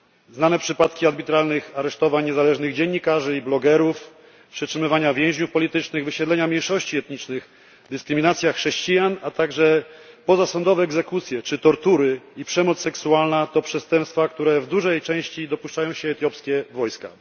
Znane przypadki arbitralnych aresztowań niezależnych dziennikarzy i blogerów, przetrzymywania więźniów politycznych, wysiedlenia mniejszości etnicznych, dyskryminacja chrześcijan, a także pozasądowe egzekucje czy tortury i przemoc seksualna to przestępstwa, których w dużej części dopuszczają się etiopskie wojska.